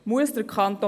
Muss der Kanton